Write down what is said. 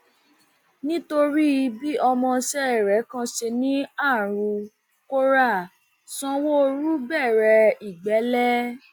nítorí bí ọmọọṣẹ rẹ kan ṣe ní arú kóra sanwóoru bẹrẹ ìgbẹlẹ